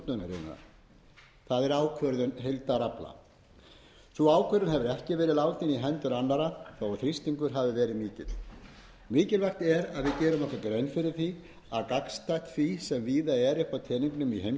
fiskveiðitjórnunarinnar það er ákvörðun heildarafla sú ákvörðun hefur ekki verið látin í hendur annarra þó þrýstingur hafi verið mikill mikilvægt er að við gerum okkur grein fyrir því að gagnstætt því sem víða er upp teningnum í heimshöfunum þá eru